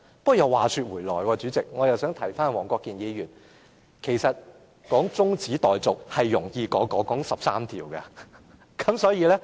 不過，話說回來，我也想提一提黃國健議員，動議中止待續議案，是較討論那13項附屬法例容易。